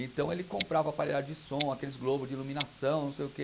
Então ele comprava aparelhagem de som, aqueles globos de iluminação, não sei o que.